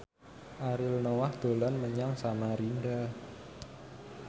Ariel Noah dolan menyang Samarinda